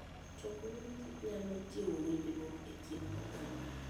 Choko mor kich nyalo jiwo winjruok e kind oganda.